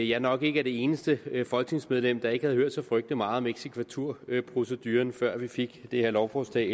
jeg nok ikke er det eneste folketingsmedlem der ikke havde hørt så frygtelig meget om eksekvaturproceduren før vi fik det her lovforslag